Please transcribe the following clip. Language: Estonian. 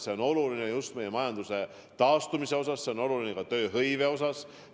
See on oluline just meie majanduse taastumise huvides, see on oluline ka tööhõive huvides.